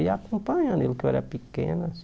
Eu ia acompanhando ele, porque eu era pequeno